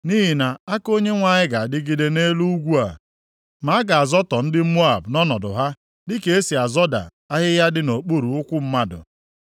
Nʼihi na aka Onyenwe anyị ga-adịgide nʼelu ugwu a, ma a ga-azọtọ ndị Moab nʼọnọdụ ha, dịka esi azọda ahịhịa dị nʼokpuru ụkwụ mmadụ.